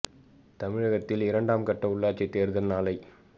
தமிழகத்தில் இரண்டாம் கட்ட உள்ளாட்சி தேர்தல் நாளை